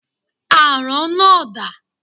Àrán náà dà?